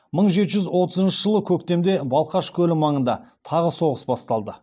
мың жеті жүз отызыншы жылы көктемде балқаш көлі маңында тағы соғыс басталды